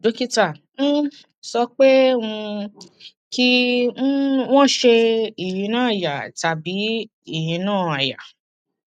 dókítà um sọ pé um kí um wọn ṣe ìyínà àyà tàbí ìyínà àyà